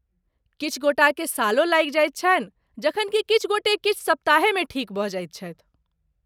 किछु गोटाकेँ सालो लागि जाइत छनि, जखन कि किछु गोटे किछु सप्ताहेमे ठीक भऽ जाइत छथि।